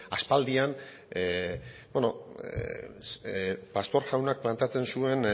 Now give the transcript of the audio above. aspaldian pastor jaunak planteatzen zuen